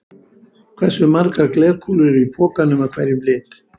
Hversu margar glerkúlur eru í pokanum af hverjum lit?